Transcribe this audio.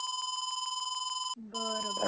बर बर